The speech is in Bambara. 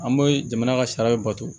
An bɛ jamana ka sariya bato